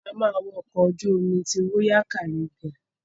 A ma wo ọkọ̀ ojú omi ti royal Caribbean.